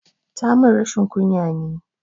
Tamun rashin ƙunya ne